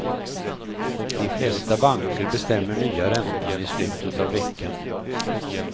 De flesta banker bestämmer nya räntan i slutet av veckan.